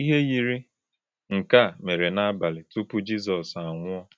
Ihe yiri nke a mere n’abalị tupu Jizọs anwụọ.